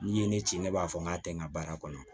N'i ye ne ci ne b'a fɔ n k'a tɛ n ka baara kɔnɔ